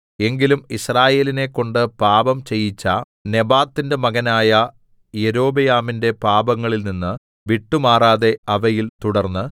എങ്കിലും യിസ്രായേലിനെക്കൊണ്ട് പാപം ചെയ്യിച്ച നെബാത്തിന്റെ മകനായ യൊരോബെയാമിന്റെ പാപങ്ങളിൽ നിന്നു വിട്ടുമാറാതെ അവയിൽ തുടർന്ന്